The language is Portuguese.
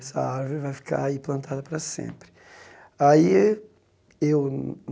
Essa árvore vai ficar aí plantada para sempre. Aí eu